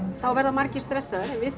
verða margir stressaðir en við